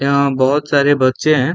यहाँ बहुत सारे बच्चे हैं।